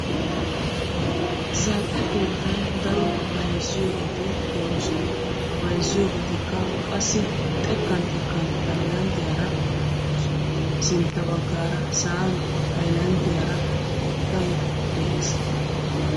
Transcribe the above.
Zal"e keettan daro bayzziyoobati de'oosona. Ha bayzziyoobatikka qassi xekkan xekkan haylanddiyaara sintta baggaara sa"an haylanddiyaara haattay de'ees.